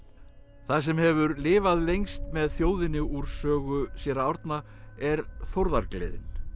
það sem hefur lifað lengst með þjóðinni úr sögu séra Árna er þórðargleðin